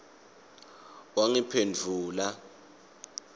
wangiphendvula